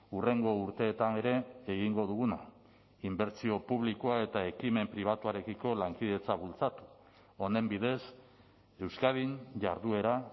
hurrengo urteetan ere egingo duguna inbertsio publikoa eta ekimen pribatuarekiko lankidetza bultzatu honen bidez euskadin jarduera